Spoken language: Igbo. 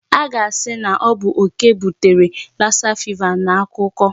A ga-asị na ọ bụ okè butere Lassa fever n'akukuọ.